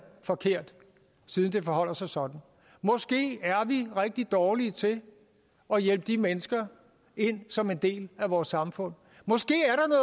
forkert siden det forholder sig sådan måske er vi rigtig dårlige til at hjælpe de mennesker ind som en del af vores samfund